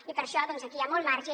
i per això doncs aquí hi ha molt marge